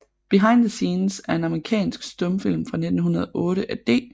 Behind the Scenes er en amerikansk stumfilm fra 1908 af D